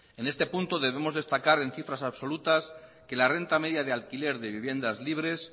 en este punto debemos destacar en cifras absolutas que la renta media de alquiler de viviendas libres